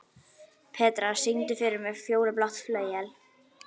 Petrea, syngdu fyrir mig „Fjólublátt flauel“.